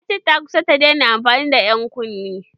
Ta ce ta kusa ta daina amfani da ƴan kunne.